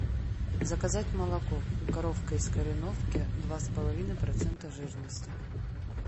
заказать молоко коровка из кореновки два с половиной процента жирности